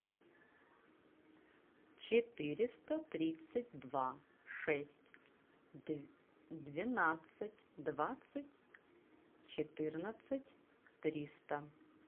четыреста тридцать два шесть двенадцать двадцать четырнадцать триста